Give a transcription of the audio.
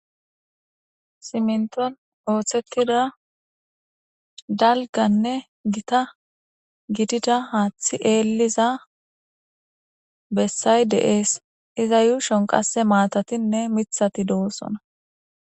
Siminton othetida dalganne Gita gidida hathey Eliza besay de'es.iza yushon qase matatinne mithat dosona.